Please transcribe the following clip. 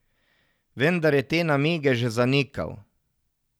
Vendar je te namige že zanikal.